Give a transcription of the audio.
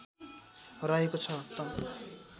रहेको छ त